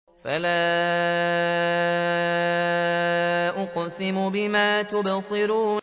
فَلَا أُقْسِمُ بِمَا تُبْصِرُونَ